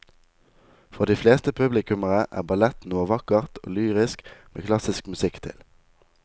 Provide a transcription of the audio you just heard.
For de fleste publikummere er ballett noe vakkert og lyrisk med klassisk musikk til.